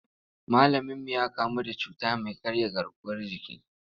Malaminmu ya kamu da cuta mai karya garkuwar jiki.